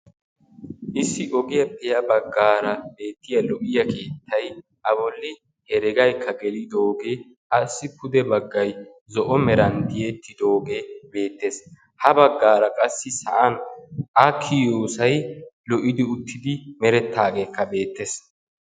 Issi ogiyaappe ya baggaara beettiyaa lo'iyaa keettay a bolli hereegayikka gelidogee asi pude baggay zo'o meran tiyettidoogee beettees. ha baggaara qassi sa'an a kiyiyoosay lo'idi uttidi merettaageekka beettees.